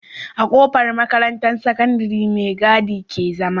A kofar makarantar sakandari me gadi ke zama